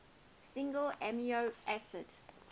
single amino acid